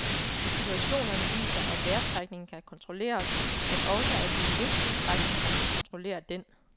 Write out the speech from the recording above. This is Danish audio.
Situationerne viser, at vejrtrækningen kan kontrollere os, men også at vi i en vis udstrækning kan kontrollere den.